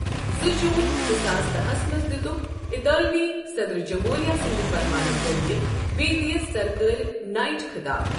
زٕ جوٗن زٕ ساس داہس منٛز دیوتکھ اطالوی صدٕرجمہوٗریہ سٕنٛدِ فرمانہٕ ذٔریعہٕ بیدی یس سرکٲرۍ 'نایٹ' خطاب ۔